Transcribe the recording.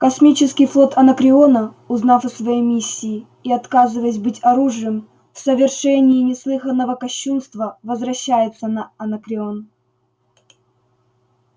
космический флот анакреона узнав о своей миссии и отказываясь быть оружием в совершении неслыханного кощунства возвращается на анакреон